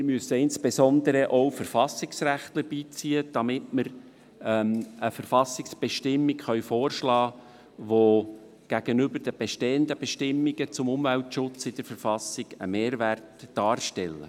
Wir müssen insbesondere auch Verfassungsrechtler beiziehen, damit wir eine Verfassungsbestimmung vorschlagen können, die gegenüber den bestehenden Bestimmungen zum Umweltschutz in der Verfassung einen Mehrwert darstellt.